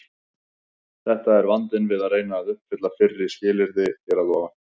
Þetta er vandinn við að reyna að uppfylla fyrra skilyrðið hér að ofan.